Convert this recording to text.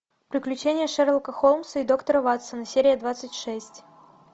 приключения шерлока холмса и доктора ватсона серия двадцать шесть